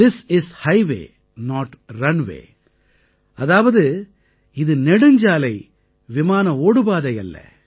this is highway not runway அதாவது இது நெடுஞ்சாலை விமானஓடுபாதை அல்ல